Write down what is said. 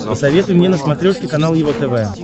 посоветуй мне на смотрешке канал его тв